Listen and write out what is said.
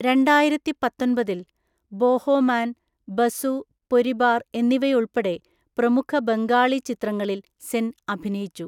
രണ്ടായിരത്തിപ്പത്തൊന്‍പതിൽ, ബോഹോമാൻ, ബസു പൊരിബാർ എന്നിവയുൾപ്പെടെ പ്രമുഖ ബംഗാളി ചിത്രങ്ങളിൽ സെൻ അഭിനയിച്ചു.